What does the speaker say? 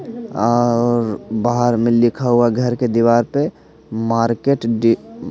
और बार में लिखा हुआ घर के दीवार पर मार्केट डी --